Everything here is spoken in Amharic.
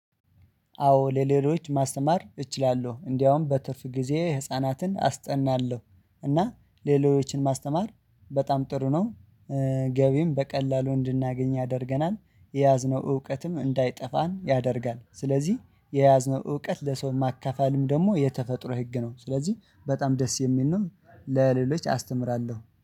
አዎ ለሌሎች ማስተማር እችላለሁ። እንደውም በትርፍ ጊዜ ህፃናትን አስጠናለሁ እና ሌሎችን ማስተማር በጣም ጥሩ ነው ገቢም በቀላሉ እንድናገኝ ያደርገናል፣ የያዝነው እውቀትም እንዳይጠፋን ያደርጋል ስለዚህ የያዝነው እውቀት ለሰው ማካፈልም ደግሞ የተፈጥሮ ህግ ነው ስለዚህ በጣም ደስ የሚል ነው ለሌሎች አስተምራለሁ።